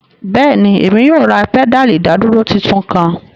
Bẹẹni, Emi yoo ra pedali idaduro titun kan